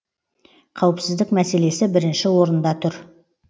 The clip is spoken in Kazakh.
қауіпсіздік мәселесі бірінші орында тұр